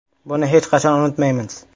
Buni hech qachon unutmaymiz.